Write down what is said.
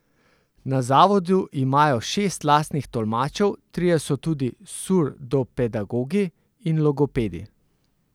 Na zavodu imajo šest lastnih tolmačev, trije so tudi surdopedagogi in logopedi.